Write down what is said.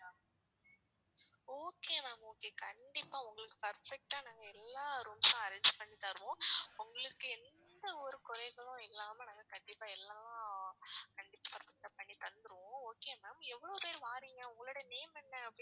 okay ma'am okay கண்டிப்பா உங்களுக்கு perfect அ நாங்க எல்லா rooms ம் arrange பண்ணி தருவோம். உங்களுக்கு எந்த ஒரு குறைகளும் இல்லாம நாங்க கண்டிப்பா எல்லாம் ஆஹ் கண்டிப்பா எல்லாம் பண்ணி தந்துருவோம். okay ma'am எவ்ளோ பேர் வாரீங்க, உங்களுடைய name என்ன?